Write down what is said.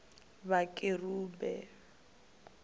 vhakerube